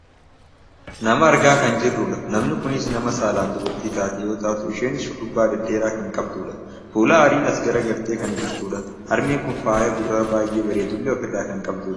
Nama argaa kan jirrudha. Namni kunis nama saalaan dubartii taate yoo taatu isheenis shurrubaa dhedheeraa kan qabdudha. Fuula aariin as garagartee kan jirtudha. Harmeen kun fayaa gurraa baayyee bareedullee ofirraa kan qabdudha.